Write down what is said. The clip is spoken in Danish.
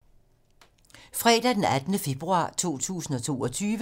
Fredag d. 18. februar 2022